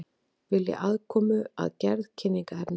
Vilja aðkomu að gerð kynningarefnis